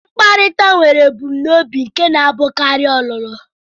Mkparịta nwere ebumnobi nke na-abụkarị ọlụlụ.